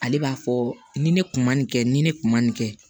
Ale b'a fɔ ni ne kun ma nin kɛ ni ne kun ma nin kɛ